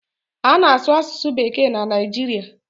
A na-asụ asụsụ bekee na Naijiria.